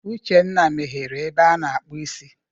Uchenna meghere ebe a na-akpụ isi.